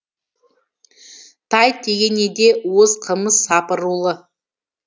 тай тегенеде уыз қымыз сапырулы